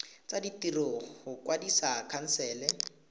tsa ditiro go kwadisa khansele